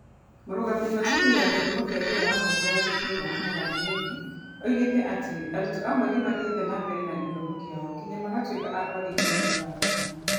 Mũrũgamĩrĩri wa cukuru ya gĩthomo kĩa wĩra wa moko ya Gathiega, Martha Njeri, oigire atĩ arutwo amwe nĩ mathiĩte na mbere na gĩthomo kĩao nginya magatuĩka a kwandĩkithio ta arutani.